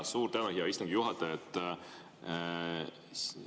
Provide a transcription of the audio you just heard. Ja suur tänu, hea istungi juhataja!